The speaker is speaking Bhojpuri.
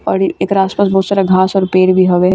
और एकर आसपास बहुत सारा घास और पेड़ भी हवे |